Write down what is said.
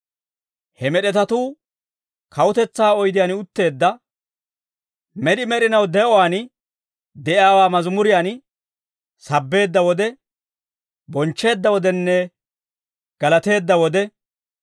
He med'etatuu kawutetsaa oydiyaan utteedda med'i med'inaw de'uwaan de'iyaawaa mazimuriyaan sabbeedda wode, bonchcheedda wodenne galateedda wode,